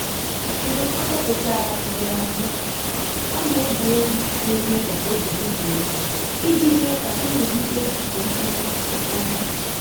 Mgbè ọ́ gàféchàrà ùgbòrò àbụ́ọ́, ọ́ nà-égé égwú nà-émé kà óbí dị́ jụ́ụ̀ ìjí mèé kà nrụ́gídé nké mkpọ́tụ́ kwụ́sị́làtà.